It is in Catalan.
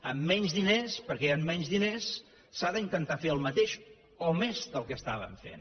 amb menys diners perquè hi han menys diners s’ha d’intentar fer el mateix o més que el que estàvem fent